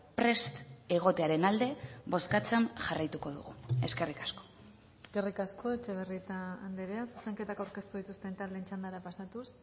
prest egotearen alde bozkatzen jarraituko dugu eskerrik asko eskerrik asko etxebarrieta andrea zuzenketak aurkeztu dituzten taldeen txandara pasatuz